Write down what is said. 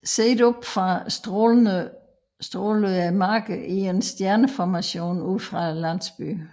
Set oppe fra strålede markerne i en stjerneformation ud fra landsbyen